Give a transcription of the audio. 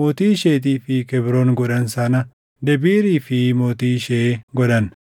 mootii isheetii fi Kebroon godhan sana Debiirii fi mootii ishee godhan.